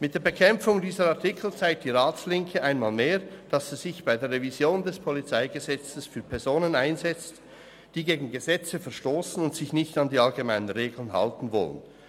Mit der Bekämpfung dieser Artikel zeigt die Ratslinke einmal mehr, dass sie sich bei der Revision des PolG für Personen einsetzt, die gegen Gesetze verstossen und sich nicht an die allgemeinen Regeln halten wollen.